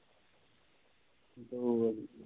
ਦੋ ਵਾਰੀਂ